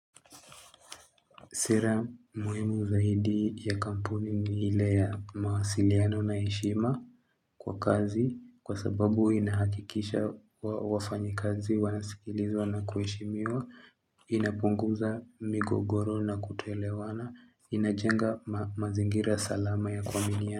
Siri ya muhimu zaidi ya kampuni ni ile ya mawasiliano na heshima kwa kazi kwa sababu inahakikisha wafanyikazi wanasikilizwa na kuheshimiwa inapunguza migogoro na kutoelewana inajenga mazingira salama ya kuaminiana.